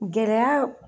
Gɛlɛya